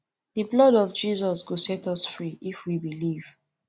the blood of jesus go set us free if we believe